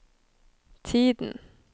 tiden